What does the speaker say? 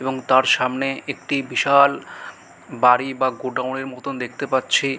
এবং তার সামনে একটি বিশাল বাড়ি বা গোডাউন -এর মতো দেখতে পাচ্ছি।